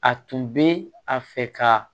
A tun bɛ a fɛ ka